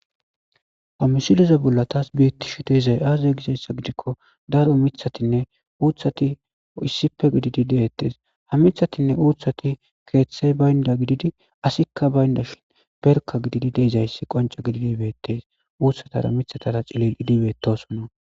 Hammisileza bolla taas biyettishu deezay aazay gizayssa gidikko daro mithatinne uuthati issippe gididi deettes ha mithatinne uuthati keeththey baynda gididi asikka baynda shin perka gididi deezayssi qonca gididibettees uutsatara mithatara cilil idibetosona